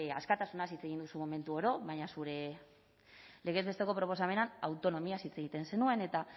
askatasunaz hitz egin duzu momentu oro baina zure legez besteko proposamenean autonomiaz hitz egiten zenuen eta